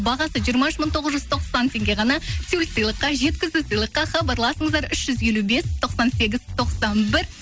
бағасы жиырма үш мың тоғыз жүз тоқсан теңге ғана тюль сыйлыққа жеткізу сыйлыққа хабарласыңыздар үш жүз елу бес тоқсан сегіз тоқсан бір